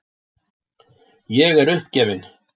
Ég er uppgefin.